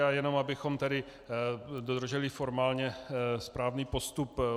A jenom abychom tedy dodrželi formálně správný postup.